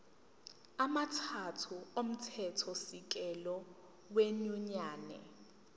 amathathu omthethosisekelo wenyunyane